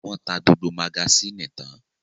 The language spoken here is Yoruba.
Wọ́n ta gbogbo magasínì tán?